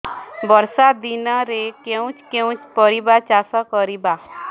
ବର୍ଷା ଦିନରେ କେଉଁ କେଉଁ ପରିବା ଚାଷ କରିବା